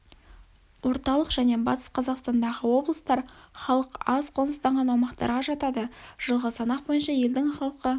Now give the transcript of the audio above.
орталық және батыс қазақстандағы облыстар халық аз қоныстанған аумақтарға жатады жылғы санақ бойынша елдің халқы